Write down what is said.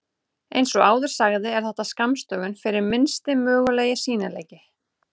Eins og áður sagði er þetta skammstöfun fyrir Minnsti mögulegi sýnileiki.